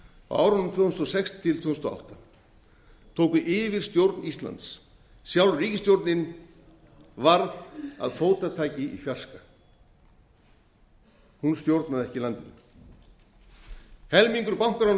á árunum tvö þúsund og sex til tvö þúsund og átta tóku yfirstjón íslands sjálf ríkisstjórnin varð að fótataki í fjarska hún stjórnaði ekki landinu helmingur bankalána á